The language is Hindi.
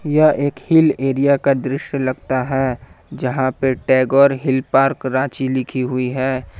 यह एक हिल एरिया का दृश्य लगता है जहां पर टैगोर हिल पार्क रांची लिखी हुई है।